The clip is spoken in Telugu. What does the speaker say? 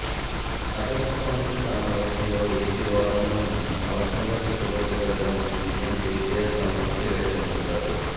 అపెక్స్ కౌన్సిల్ సమావేశంలో ఎపి వాదనలను సమర్ధంగా తిప్పికొట్టగలి గామని సిఎం కెసిఆర్ సంతృప్తి వ్యక్తం చేశారు